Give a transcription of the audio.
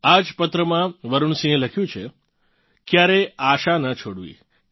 આ જ પત્રમાં વરુણ સિંહે લખ્યું છે ક્યારેય આશા ના છોડવી